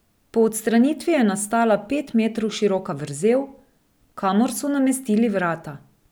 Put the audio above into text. Po odstranitvi je nastala pet metrov široka vrzel, kamor so namestili vrata.